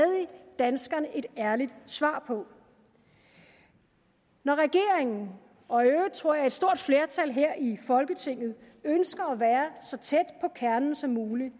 danskerne et ærligt svar på når regeringen og i øvrigt tror jeg et stort flertal her i folketinget ønsker at være så tæt på kernen som muligt